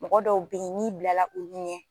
Mɔgɔ dɔw bɛ yen n'i bilala olu ɲɛ